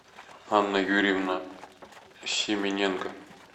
анна юрьевна семененко